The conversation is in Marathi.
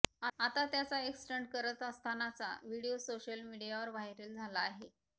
आता त्याचा एक स्टंट करत असतानाचा व्हिडिओ सोशल मीडियावर व्हायरल झाला आहे